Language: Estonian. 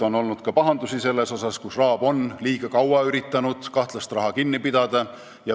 On olnud ka pahandusi, kui RAB on liiga kaua üritanud kahtlast raha kinni pidada.